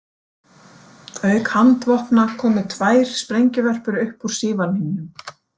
Auk handvopna komu tvær sprengjuvörpur upp úr sívalningnum.